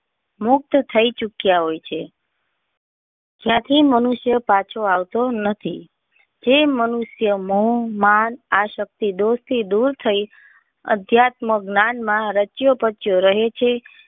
મુક્ત થઈ ચુક્યા હોય છે જ્યાંથી મનુષ્ય પાછો આવતો નથી જે મનુષ્ય મન મન આ શક્તિ થી દૂર થઈ અધ્યાત્મક જ્ઞાન માં લાંચયો પચ્યો રહે છે